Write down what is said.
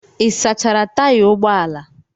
Ị sachara taya ụgbọ ala?